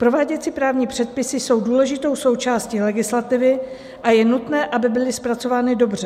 Prováděcí právní předpisy jsou důležitou částí legislativy a je nutné, aby byly zpracovány dobře.